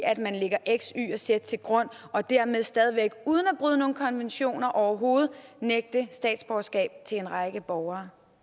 at man lægger x y og z til grund og dermed stadig væk uden at bryde nogen konventioner overhovedet nægte statsborgerskab til en række borgere